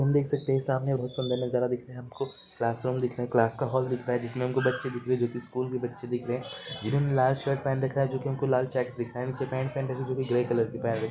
हम देख सकते है सामने बहुत सुदर नजारा दिख रहा है हमको क्लासरूम दिख रहा है जिसे क्लास का होल दिख रहा है जिसमें हमको बच्चे दिख रहे है जो की स्कूल जके बच्चे दिख रहे है जिन्होंने लाल शर्ट पेहन रखा है जो की हमको लाल चेक्स दिख रहा है नीचे पेंट पहनी है जो की ग्रे कलर की पहेन रखी है।